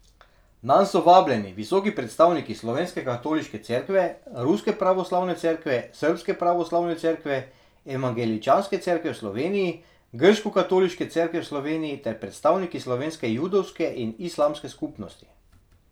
Nanj so vabljeni visoki predstavniki slovenske katoliške cerkve, ruske pravoslavne cerkve, srbske pravoslavne cerkve, evangeličanske cerkve v Sloveniji, grškokatoliške cerkve v Sloveniji ter predstavniki slovenske judovske in islamske skupnosti.